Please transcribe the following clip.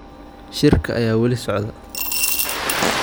Shirka ayaa wali socda